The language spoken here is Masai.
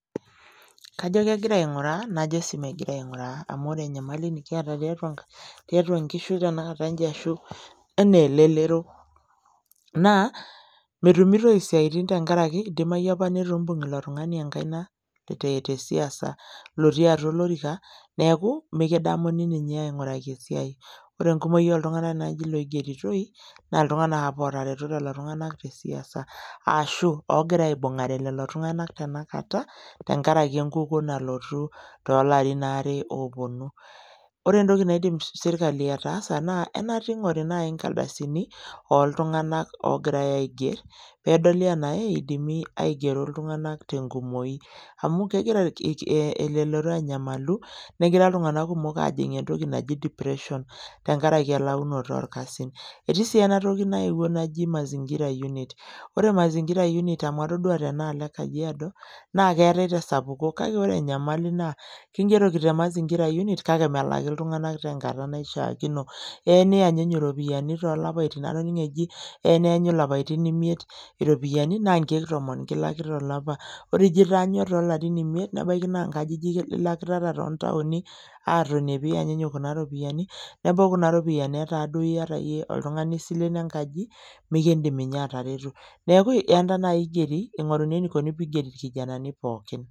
Kajo kegira aing'uraa najo sii megira aing'uraa amu ore enyamali nikiata tiatua inkishu tenakata inji ashu enaa elelero naa metumitoi isiaitin tenkaraki idimai apa netu imbung ilo tung'ani enkaina te tesiasa lotii atua olorika neeku mikidamuni ninye aing'uraki esiai ore enkumoki oltung'anak naaji loigeritoi naa iltung'anak apa otareto lelo tung'anak te siasa aashu oogira aibung'are lelo tung'anak tenakata tenkaraki enkukuo nalotu tolarin aare ooponu ore entoki naidim sirkali ataasa naa enaata ing'ori naaji inkaldasini oltung'anak ogirae aigerr pedoli enae idimi aigero iltung'anak tenkumoi amu kegira irki eh elelero anyamalu negira iltung'anak aajing entoki naji depression tenkaraki elaunoto orkasin etii sii enatoki naewuo naji mazingira unit ore mazingira unit amu atodua tenaalo e kajiado naa keetae tesapuko kake ore enyamali naa kingeroki te mazingira unit kake melaki iltung'anak tenkata naishiakino eya niyanyunyu iropiani tolapaitin atoning'o eji eya neenyu ilapitin imiet iropiyiani naa inkeek tomon kilaki tolapa ore ijio itaanyua tolarin imiet nebaiki naa inkajijik ilakitata tontaoni atoni piyanyunyu kuna ropiyani nebau kuna ropiyiani etaa duo iyata iyie oltung'ani isilen enkaji mikindim inye atareto neeku ienta naaji igeri ing'oruni enikoni piigeri irkijanani pookin.